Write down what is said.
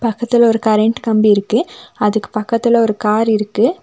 பக்கத்துல ஒரு கரண்ட் கம்பி இருக்கு அதுக்கு பக்கத்துல ஒரு கார் இருக்கு.